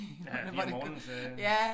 Ja i morgenen ja